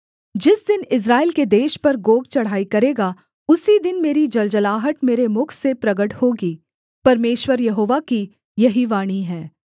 जिस दिन इस्राएल के देश पर गोग चढ़ाई करेगा उसी दिन मेरी जलजलाहट मेरे मुख से प्रगट होगी परमेश्वर यहोवा की यही वाणी है